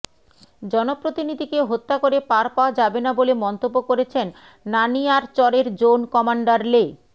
জনপ্রতিনিধিকে হত্যা করে পার পাওয়া যাবে না বলে মন্তব্য করেছেন নানিয়ারচরের জোন কমান্ডার লে